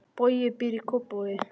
Bogi býr í Kópavogi.